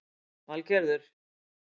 Valgerður